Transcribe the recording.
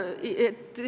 Okei.